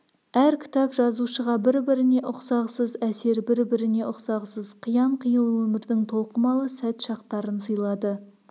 әр кітап жазушыға бір-біріне ұқсағысыз әсер бір-біріне ұқсағысыз қиян-қилы өмірдің толқымалы сәт-шақтарын сыйлады